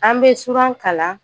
An bɛ suran kalan.